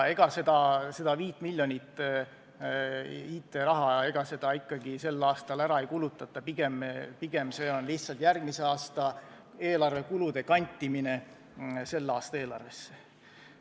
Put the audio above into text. Ega seda 5 miljonit IT-raha ikkagi sel aastal ära ei kulutata, pigem on see lihtsalt järgmise aasta eelarvekulude kantimine selle aasta eelarvesse.